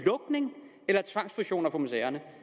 lukninger eller tvangsfusioner for museerne